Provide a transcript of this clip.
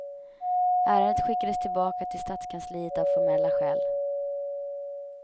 Ärendet skickades tillbaka till stadskansliet av formella skäl.